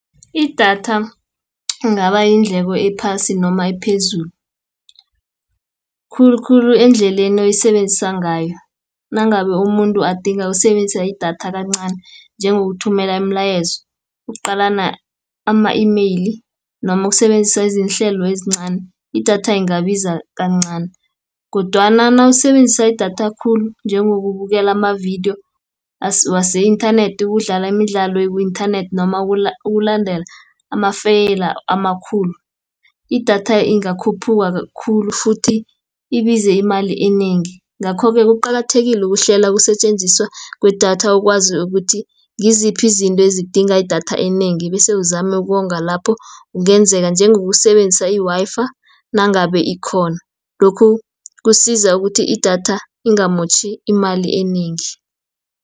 Idatha ingaba yindleko ephasi noma ephezulu, khulukhulu endleleni oyisebenzisa ngayo. Nangabe umuntu adinga usebenzisa idatha kancani, njengothumela imilayezo, ukuqalana ama-email, noma ukusebenzisa izihlelo ezincani, idatha ingabiza kancani, kodwana nawusebenzisa idatha khulu, njengokubukela amavidiyo, wase-inthanethi, ukudlala imidlalo eku-inthanethi, noma ukulandela amafeyila amakhulu. Idatha ingakhuphuka khulu futhi ibize imali enengi, Ngakho-ke, kuqakathekile ukuhlela ukusetjenziswa kwedatha ukwazi ukuthi ngiziphi izinto ezidinga idatha enengi, bese uzame ukonga lapho kungenzeka, njengokusebenzisa i-Wi-Fi, nangabe ikhona. Lokhu, kusiza ukuthi idatha ingamotjhi imali enengi.